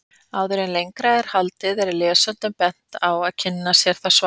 Áður en lengra er haldið er lesendum bent á að kynna sér það svar.